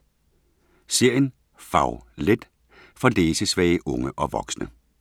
Serien Fag-let for læsesvage unge og voksne